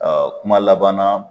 kuma laban na